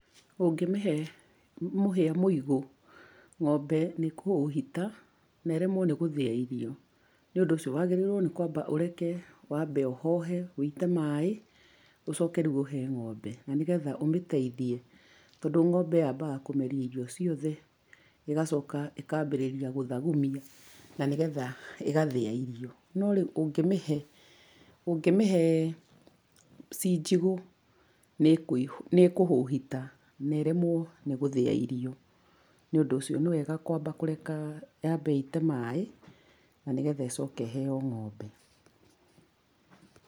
Ũngĩmĩhe mũhĩa mũigũ ng'ombe nĩ ĩkũhũhita na iremwo nĩ gũthĩa irio. Nĩ ũndũ ũcio wagĩrĩirũo nĩ kwamba ũreka wambe ũhohe ũite maĩ ucoke rĩu ũhe ng'ombe. Na nĩgetha ũmĩteithie tondũ ngombe yambaga kũmeria irio ciothe, ĩgacoka ĩkambĩrĩria gũthagumia na nĩgetha ĩgathĩa iron. No rĩu ũngĩmĩhe ũngĩmihe ciĩ njigũ nĩĩkũhũhita na ĩremwo nĩ gũthĩa irio. Nĩ ũndũ ũcio nĩ wega kwamba kũreka yambe ĩite maĩ na nĩgetha ĩcoke ĩheo ng'ombe.